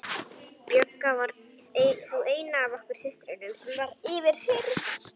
Björg var sú eina af okkur systrum sem var yfirheyrð.